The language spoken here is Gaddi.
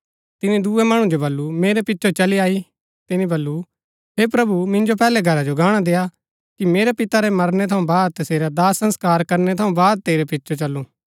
तिनी दूये मणु जो बल्लू मेरै पिचो चली आई तिनी वल्‍लु हे प्रभु मिन्जो पैहलै घरा जो गाणा देआ कि मेरै पिता रै मरणै थऊँ बाद तसेरा दाह संस्कार करनै थऊँ बाद तेरै पिचो चलूं